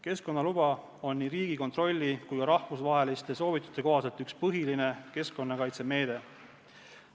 Keskkonnaluba on nii Riigikontrolli kui ka rahvusvaheliste soovituste kohaselt üks põhilisi keskkonnakaitsemeetmeid.